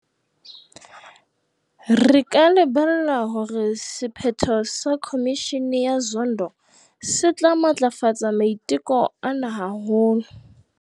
Re ka lebella hore sephetho sa Khomishene ya Zondo se tla matlafatsa maiteko ana haholo.